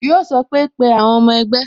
Yo sọ pé "Pe àwọn ọmọ ẹgbẹ́